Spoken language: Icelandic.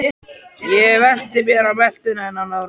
Ég velti mér á meltuna en án árangurs.